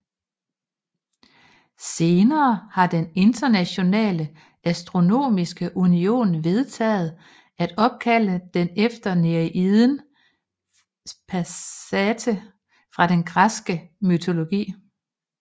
Senere har den Internationale Astronomiske Union vedtaget at opkalde den efter nereiden Psamathe fra den græske mytologi